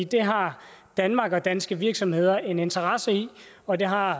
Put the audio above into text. det har danmark og danske virksomheder en interesse i og det har